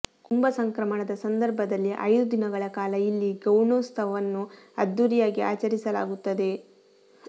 ಕುಂಭ ಸಂಕ್ರಮಣದ ಸಂದರ್ಭದಲ್ಲಿ ಐದು ದಿನಗಳ ಕಾಲ ಇಲ್ಲಿ ಗೌಣೋತ್ಸವವನ್ನು ಅದ್ದುರಿಯಾಗಿ ಆಚರಿಸಲಾಗುತ್ತದೆ